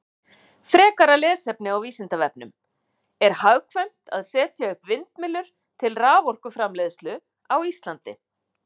Frekara lesefni á Vísindavefnum: Er hagkvæmt að setja upp vindmyllur til raforkuframleiðslu á Íslandi?